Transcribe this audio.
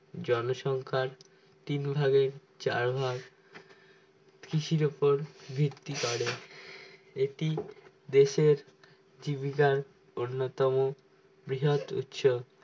জনসংখ্যার তিন ভাগের চার ভাগ কৃষির ওপর ভিত্তি করে এটি দেশের জীবিকার উন্নতম বৃহৎ উৎস